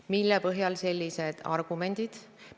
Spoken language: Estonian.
Mille põhjal te sellised argumendid esitate?